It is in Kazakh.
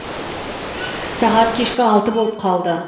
сағат кешкі алты болып қалды